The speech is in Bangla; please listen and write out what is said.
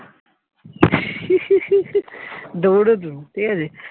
দৌঁড়তুম ঠিক আছে।